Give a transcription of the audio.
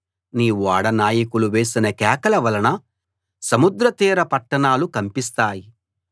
నీ ఓడ నాయకులు వేసిన కేకల వలన సముద్ర తీర పట్టణాలు కంపిస్తాయి